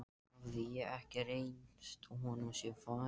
Hafði ég ekki reynst honum sem faðir?